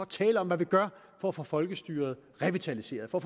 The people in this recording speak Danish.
tale om hvad vi gør for at få folkestyret revitaliseret for